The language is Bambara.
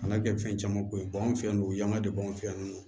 Kana kɛ fɛn caman ko ye an fɛ yan nɔ o ye yanga de b'anw fɛ yan nɔ